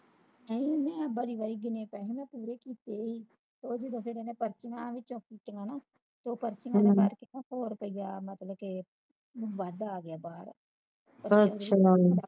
ਏਨਾ ਬਾਰੀ ਬਾਰੀ ਜਿੰਨੇ ਕਹਿੰਦੀਆਂ ਪੂਰੇ ਕਿਤੇ ਵੀ ਉਹ ਜਦੋ ਪਰਚੀਆਂ ਵਿੱਚੋ ਚਿੱਕ ਕੇਤੀਆ ਨਾ ਉਹ ਪਰਚੀਆਂ ਭੋਗ ਤੇ ਗਿਆ ਮਤਲਬ ਕੇ ਬਾਦ ਆਗਿਆ ਬਾਹਰ